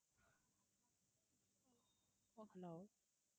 hello